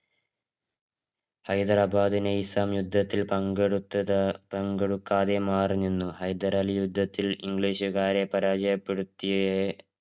ഹൈദരാബാദ് നൈസാം യുദ്ധത്തില് പങ്കെടുത്തത്തില്~ പങ്കെടുക്കാതെ മാറി നിന്നു ഹൈദരലി യുദ്ധത്തിൽ english രെ പരാജയപ്പെടുത്തിയേ~